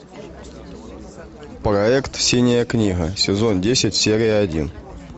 проект синяя книга сезон десять серия один